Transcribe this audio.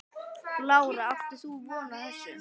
Lára: Áttir þú von á þessu?